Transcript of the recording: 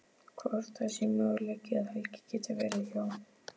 Hvort það sé möguleiki að Helgi geti verið hjá.